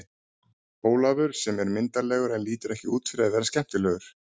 Ólafur sem er myndarlegur en lítur ekki út fyrir að vera skemmtilegur.